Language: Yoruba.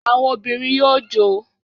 Àwọn obìnrin yóò jó